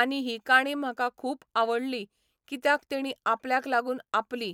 आनी ही काणी म्हाका खूब आवडली कित्याक तेंणी आपल्याक लागून आपली